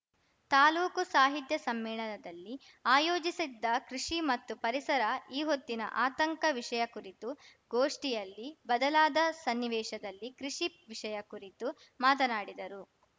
ತಾಲೂಕು ಸಾಹಿತ್ಯ ಸಮ್ಮೇಳನದಲ್ಲಿ ಆಯೋಜಿಸಿದ್ದ ಕೃಷಿ ಮತ್ತು ಪರಿಸರ ಈ ಹೊತ್ತಿನ ಆತಂಕ ವಿಷಯ ಕುರಿತು ಗೋಷ್ಠಿಯಲ್ಲಿ ಬದಲಾದ ಸನ್ನಿವೇಶದಲ್ಲಿ ಕೃಷಿ ವಿಷಯ ಕುರಿತು ಮಾತನಾಡಿದರು